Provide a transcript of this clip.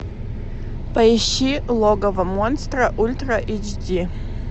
поищи логово монстра ультра эйч ди